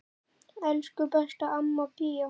Elsku besta amma Bía.